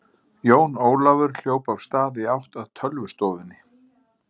Jón Ólafur hljóp af stað í átt að tölvustofunni.